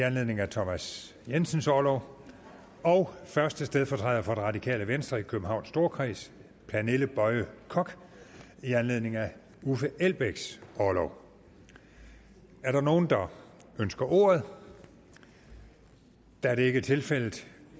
anledning af thomas jensens orlov og første stedfortræder for det radikale venstre i københavns storkreds pernille boye koch i anledning af uffe elbæks orlov er der nogen der ønsker ordet da det ikke er tilfældet